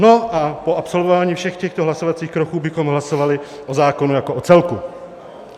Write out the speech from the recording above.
No a po absolvování všech těchto hlasovacích kroků bychom hlasovali o zákonu jako o celku.